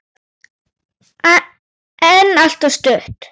En alltof stutt.